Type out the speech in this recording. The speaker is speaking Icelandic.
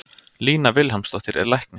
Lína Vilhjálmsdóttir er læknir.